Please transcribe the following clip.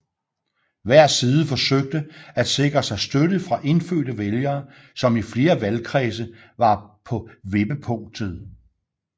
Hver side forsøgte at sikre sig støtte fra indfødte vælgere som i flere valgkredse var på vippepunktet